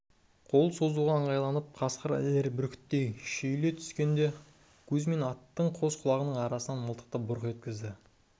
қол созуға ыңғайланып қасқыр ілер бүркіттей шүйіле түскенде кузьмин аттың қос құлағының арасынан мылтықты бұрқ еткізді